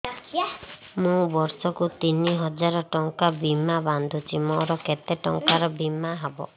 ମୁ ବର୍ଷ କୁ ତିନି ହଜାର ଟଙ୍କା ବୀମା ବାନ୍ଧୁଛି ମୋର କେତେ ଟଙ୍କାର ବୀମା ହବ